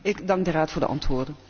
Ik dank de Raad voor de antwoorden.